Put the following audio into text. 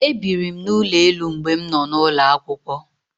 E biri m n'ụlọ elu mgbe m nọ n'ulo akwụkwọ.